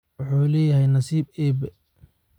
Wuxuu leeyahay nasiib Eebbe